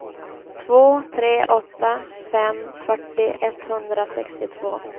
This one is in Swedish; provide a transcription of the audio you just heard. två tre åtta fem fyrtio etthundrasextiotvå